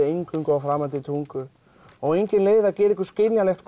eingöngu á framandi tungu og engin leið að gera ykkur skiljanlegt